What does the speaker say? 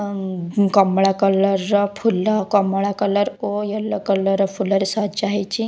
ଅଂ ଉଁ କମଳା କଲର୍ ର ଫୁଲ କମଳା କଲର୍ ଓ ୟଲୋ କଲର୍ ର ଫୁଲ ରେ ସଜା ହେଇଚି।